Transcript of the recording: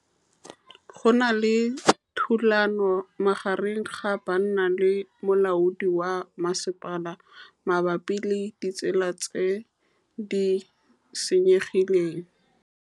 Go na le thulanô magareng ga banna le molaodi wa masepala mabapi le ditsela tse di senyegileng.